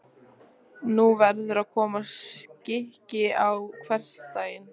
Nú verður að koma skikki á hversdaginn.